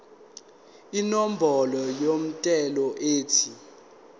inombolo yomthelo ethi